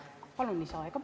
Palun lisaaega!